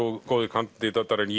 góðir kandídatar en